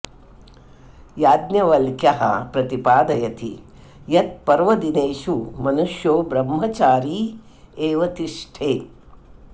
याज्ञवल्क्यः प्रतिपादयति यत् पर्वदिनेषु मनुष्यो ब्रह्मचारी एव तिष्ठेत्